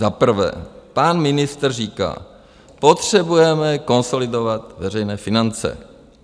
Za prvé pan ministr říká: Potřebujeme konsolidovat veřejné finance.